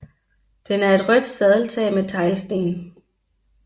Den er et rødt sadeltag med teglsten